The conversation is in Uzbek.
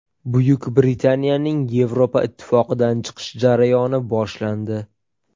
Buyuk Britaniyaning Yevropa Ittifoqidan chiqish jarayoni boshlandi.